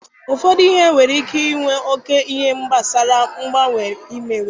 Ụfọdụ ihe nwere ike inwe oke n'ihe gbasara mgbanwe imewe.